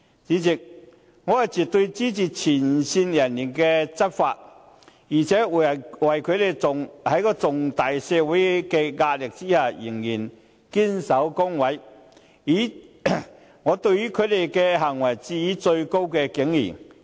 主席，我絕對支持前線人員執法，而且對於他們在社會巨大的壓力下，仍然能夠堅守崗位的行為，致以最高敬意。